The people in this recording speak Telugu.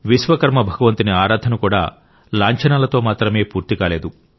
విశ్వకర్మ భగవంతుని ఆరాధన కూడా లాంఛనాలతో మాత్రమే పూర్తి కాలేదు